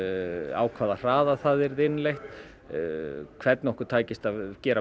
á hvaða hraða það yrði innleitt hvernig okkur takist að gera